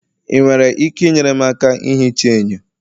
ị nwere ike inyere m aka ihicha enyo?